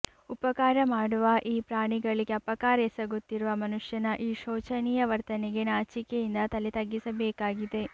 ಉಪಕಾರ ಮಾಡುವ ಈ ಪ್ರಾಣಿಗಳಿಗೆ ಅಪಕಾರ ಎಸಗುತ್ತಿರುವ ಮನುಷ್ಯನ ಈ ಶೋಚನೀಯ ವರ್ತನೆಗೆ ನಾಚಿಕೆಯಿಂದ ತಲೆತಗ್ಗಿಸಬೇಕಾಗಿದೆ